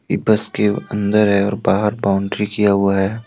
ये बस के अंदर है और बाहर बाउंड्री किया हुआ है।